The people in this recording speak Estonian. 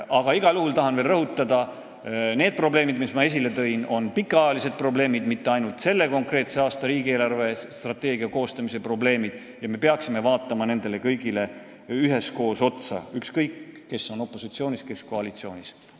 Aga igal juhul tahan veel rõhutada, et need probleemid, mis ma esile tõin, on pikaajalised, need ei ole mitte ainult selle konkreetse aasta riigi eelarvestrateegia koostamise probleemid, ja me peaksime vaatama neid kõiki üheskoos, ükskõik, kes on siis opositsioonis ja kes koalitsioonis.